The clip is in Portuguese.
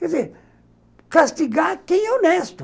Quer dizer, castigar quem é honesto.